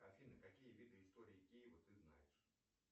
афина какие виды истории киева ты знаешь